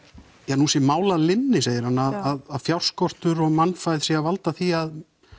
að nú sé mál að linni segir hann að fjárskortur og mannfæð sé að valda því